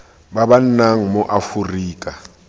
ba ba nnang mo aforika